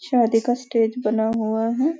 शादी का स्टेज बना हुआ है।